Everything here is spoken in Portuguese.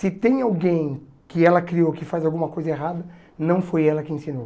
Se tem alguém que ela criou que faz alguma coisa errada, não foi ela que ensinou.